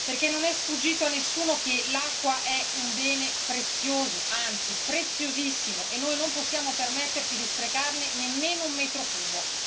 Perché non è sfuggito a nessuno che l'acqua è un bene prezioso, anzi preziosissimo, e noi non possiamo permetterci di sprecarne nemmeno un metro cubo.